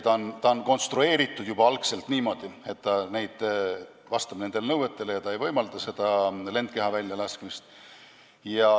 Need on konstrueeritud niimoodi, et nad vastavad nendele nõuetele ega võimalda lendkehi välja lasta.